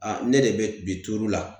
ne de be bi turu la.